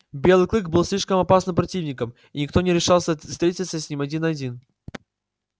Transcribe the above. белый клык был слишком опасным противником и никто не решался встретиться с ним один на один